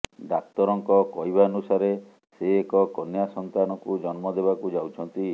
ଡାକ୍ତରଙ୍କ କହିବାନୁସାରେ ସେ ଏକ କନ୍ୟା ସନ୍ତାନକୁ ଜନ୍ମ ଦେବାକୁ ଯାଉଛନ୍ତି